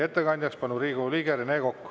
Ettekandjaks palun Riigikogu liikme Rene Koka.